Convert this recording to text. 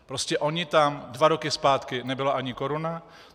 Prostě ona tam dva roky zpátky nebyla ani koruna.